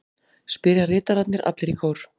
spyrja ritararnir allir í kór.